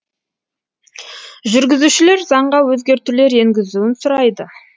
жүргізушілер заңға өзгертулер енгізуін сұрайды